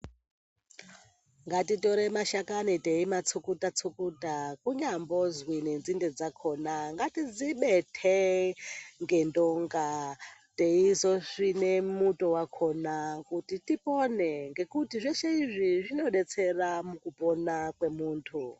Ngatitore madhakani teimatsukuta tsukuta kunyambozi nenzinde dzakona ngatidzibete ngendonga teizosvina mutowakona ngekuti zveshe izvi zvinodetsera mukupona kwemundu